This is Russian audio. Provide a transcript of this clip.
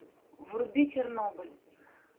вруби чернобыль